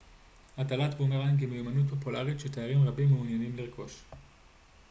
הטלת בומרנג היא מיומנות פופולרית שתיירים רבים מעוניינים לרכוש